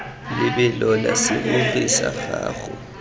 lebelo la serori sa gago